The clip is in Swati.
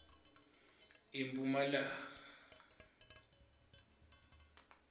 emphumalanga